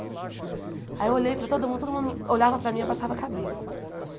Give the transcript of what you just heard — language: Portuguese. Aí eu olhei para todo mundo, todo mundo olhava para mim e abaixava a cabeça.